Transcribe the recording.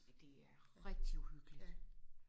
det er rigtig uhyggeligt!